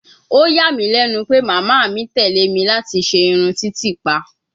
Ó yà mí lẹ́nu pé màmá mi tẹ̀ lé mi láti ṣe irun titipa